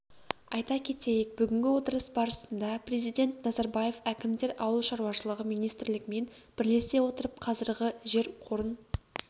айта кетейік бүгінгі отырыс барысында президент назарбаев әкімдер ауыл шаруашылығы министрлігімен бірлесе отырып қазіргі жер қорын